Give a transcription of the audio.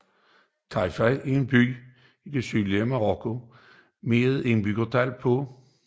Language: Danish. Tarfaya er en by i det sydlige Marokko med et indbyggertal på